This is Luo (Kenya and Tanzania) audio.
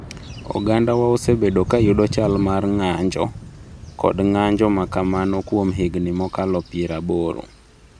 Ogandawa osebedo ka yudo chal mar ng’anjo kod ng’anjo ma kamano kuom higni mokalo piraboro.